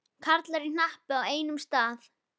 Karlar í hnapp á einum stað.